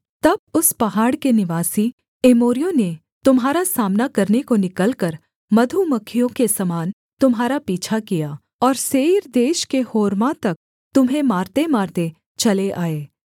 तब उस पहाड़ के निवासी एमोरियों ने तुम्हारा सामना करने को निकलकर मधुमक्खियों के समान तुम्हारा पीछा किया और सेईर देश के होर्मा तक तुम्हें मारतेमारते चले आए